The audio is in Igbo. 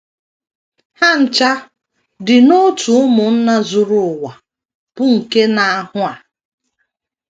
Ha ncha di n’òtù ụmụnna zuru ụwa bụ́ nke na - ahụ a.